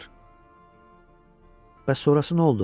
Bəs sonrası nə oldu?